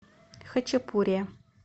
хачапурия